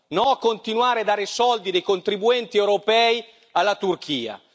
No a continuare a dare i soldi dei contribuenti europei alla Turchia!